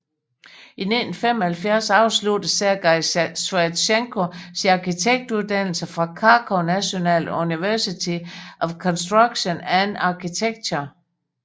I 1975 afsluttede Sergei Sviatchenko sin arkitektuddannelse fra Kharkov National University of Construction and Architecture